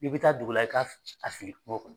I bi taa dugu la i k'a f a fili kuŋo kɔnɔ.